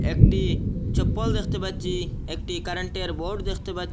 একটি চপ্পল দেখতে পাচ্ছি একটি কারেন্টের বোর্ড দেখতে পা--